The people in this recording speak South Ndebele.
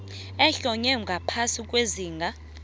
ohlonywe ngaphasi kwesigaba